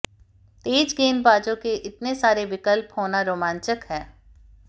तेज गेंदबाजों के इतने सारे विकल्प होना रोमांचक है